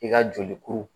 I ka joli kuru